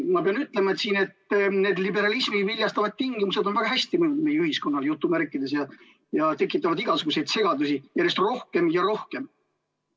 Ma pean ütlema, et need liberalismi viljastavad tingimused on väga hästi jutumärkides mõjunud meie ühiskonnale, ja tekitavad igasuguseid segadusi järjest rohkem ja rohkem.